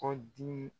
Kɔ dimi